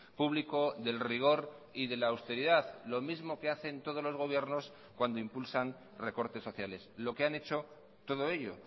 público del rigor y de la austeridad lo mismo que hacen todos los gobiernos cuando impulsan recortes sociales lo que han hecho todo ello